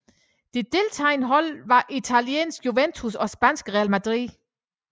De deltagende hold var italienske Juventus og spanske Real Madrid